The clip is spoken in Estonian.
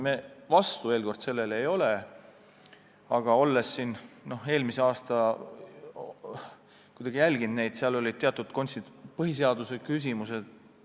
Me vastu sellele ei ole, aga ma olen eelmisel aastal seda teemat jälginud, seal on teatud põhiseaduse küsimused.